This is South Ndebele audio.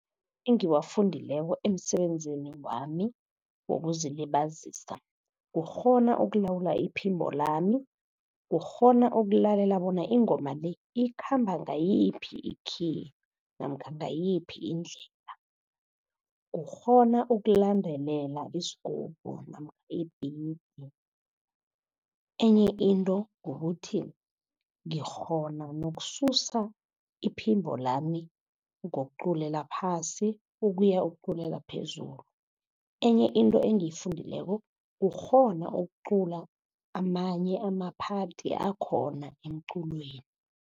Engiwafundileko emsebenzini wami wokuzilibazisa, kukghona ukulawula iphimbo lami. Kukghona ukulalela bona ingoma le, ikhamba ngayiphi i-key namkha ngayiphi indlela. Kukghona ukulandelela isigubhu namkha ibhithi. Enye into kukuthi ngikghona nokususa iphimbo lami ngokuculela phasi, ukuya ukuculela phezulu. Enye into engiyifundileko kukghona ukucula amanye ama-part akhona emculweni.